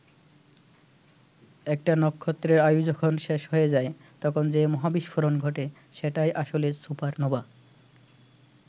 একটা নক্ষত্রের আয়ু যখন শেষ হয়ে যায়, তখন যে মহাবিস্ফোরণ ঘটে, সেটাই আসলে সুপারনোভা।